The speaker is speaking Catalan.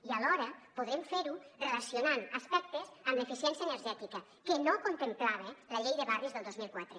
i alhora podrem fer ho relacionant aspectes amb l’eficiència energètica que no contemplava la llei de barris del dos mil quatre